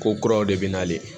Ko kuraw de bɛ nalen